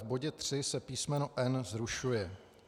V bodě 3 se písmeno n) zrušuje.